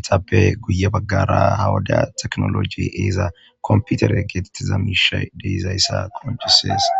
etappe guye baggara hawada teknoloji eeza komputere geetettiza miishay deizayssa qompiyusees.